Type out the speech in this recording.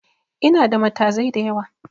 Inada matazai da yawa